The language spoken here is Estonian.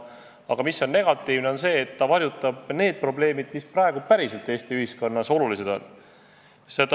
Aga negatiivne on see, et nii varjutatakse probleemid, mis on Eesti ühiskonnas tõeliselt olulised.